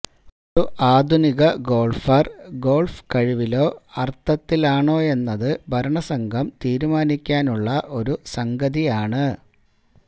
ഒരു ആധുനിക golfer golf കഴിവിലോ അർഥത്തിലാണോയെന്നത് ഭരണസംഘം തീരുമാനിക്കാനുള്ള ഒരു സംഗതിയാണ്